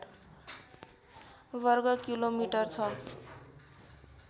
वर्ग किलोमिटर छ